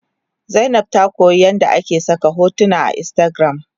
Zainab ta koyamin yadda ake saka hotuna a instagram